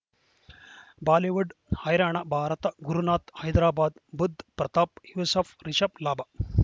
Bollywood ಹೈರಾಣ ಭಾರತ ಗುರುನಾಥ ಹೈದರಾಬಾದ್ ಬುಧ್ ಪ್ರತಾಪ್ ಯೂಸುಫ್ ರಿಷಬ್ ಲಾಭ